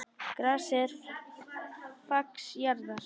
Grasið er fax jarðar.